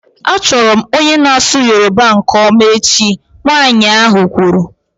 Achọrọ m onye na-asụ Yoruba nke ọma echi, nwanyị ahụ kwuru